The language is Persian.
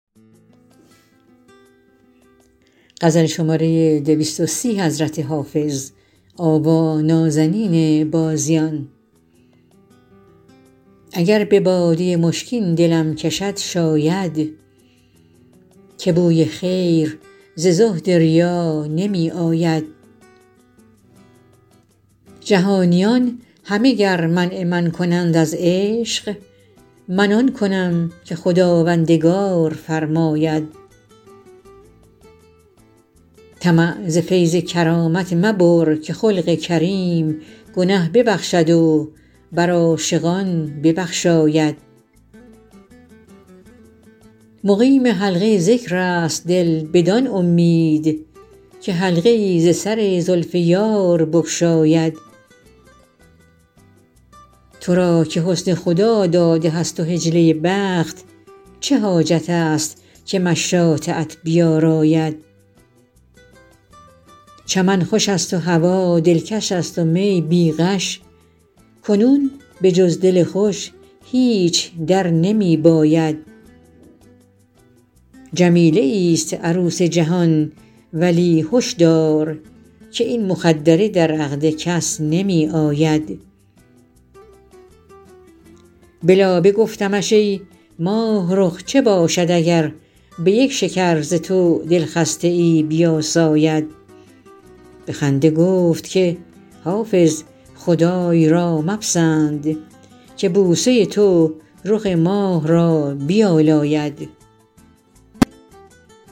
اگر به باده مشکین دلم کشد شاید که بوی خیر ز زهد ریا نمی آید جهانیان همه گر منع من کنند از عشق من آن کنم که خداوندگار فرماید طمع ز فیض کرامت مبر که خلق کریم گنه ببخشد و بر عاشقان ببخشاید مقیم حلقه ذکر است دل بدان امید که حلقه ای ز سر زلف یار بگشاید تو را که حسن خداداده هست و حجله بخت چه حاجت است که مشاطه ات بیاراید چمن خوش است و هوا دلکش است و می بی غش کنون به جز دل خوش هیچ در نمی باید جمیله ایست عروس جهان ولی هش دار که این مخدره در عقد کس نمی آید به لابه گفتمش ای ماهرخ چه باشد اگر به یک شکر ز تو دلخسته ای بیاساید به خنده گفت که حافظ خدای را مپسند که بوسه تو رخ ماه را بیالاید